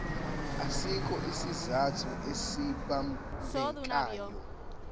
asikho isizathu esibambekayo